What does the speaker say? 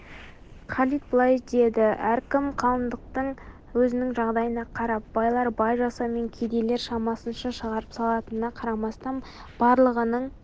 халид былай деді әркім қалыңдықты өзінің жағдайына қарап байлар бай жасауымен кедейлер шамасынша шығарып салатынына қарамастан барлығының